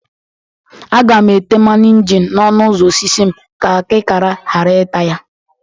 Aga m ete mmanụ injin n'ọnụ ụzọ osisi m ka akịkara ghara ịta ya